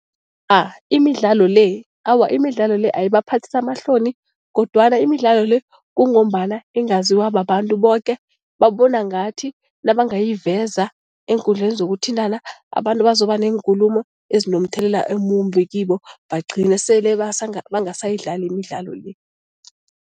imidlalo le, awa imidlalo le ayibaphathisi amahloni kodwana imidlalo le kungombana ingaziwa babantu boke, babona ngathi nabangayiveza eenkundleni zokuthintana abantu bazoba neenkulumo ezinomthelela omumbi kibo, bagcine sele bangasayidlali imidlalo le.